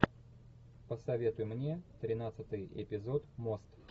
посоветуй мне тринадцатый эпизод мост